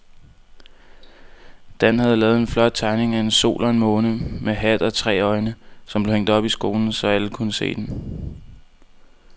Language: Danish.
Dan havde lavet en flot tegning af en sol og en måne med hat og tre øjne, som blev hængt op i skolen, så alle kunne se den.